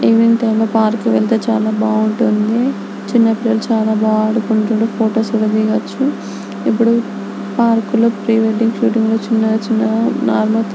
evening time park కి వెళ్తే బాగుంటుంది చిన్న పిల్లలు చాలా బాగా ఆడుకుంటూ ఫోటోస్ దిగొచ్చు ఇప్పుడు పార్కు లో పరే వెడ్డింగ్ ఘాట్ చిన్న చిన్న --